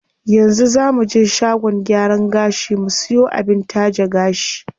Yanzu zaa muje shagon gyaran gashi mu siyo abin taje gashi.